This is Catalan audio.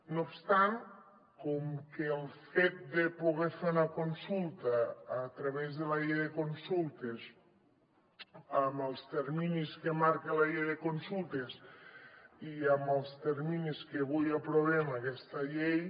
no obstant com que el fet de poder fer una consulta a través de la llei de consultes amb els terminis que marca la llei de consultes i amb els terminis que avui aprovem aquesta llei